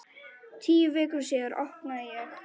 Tíu vikum síðar opnaði ég.